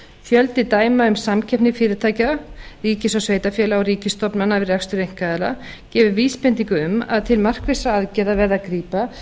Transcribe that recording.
fjöldi dæma um samkeppni fyrirtækja ríkis og sveitarfélaga og ríkisstofnana við rekstur einkaaðila gefur vísbendingu um að til markvissra aðgerða verði að grípa